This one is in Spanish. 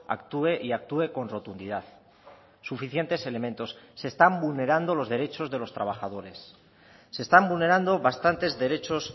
actúe y actúe con rotundidad suficientes elementos se están vulnerando los derechos de los trabajadores se están vulnerando bastantes derechos